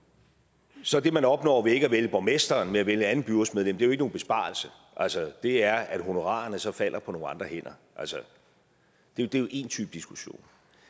så er det man opnår ved ikke at vælge borgmesteren men at vælge et andet byrådsmedlem jo ikke nogen besparelse altså det er at honorarerne så falder på nogle andre hænder det er én type diskussion